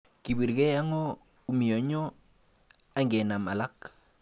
kibirgei ago umianyo angenam alak